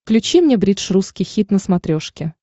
включи мне бридж русский хит на смотрешке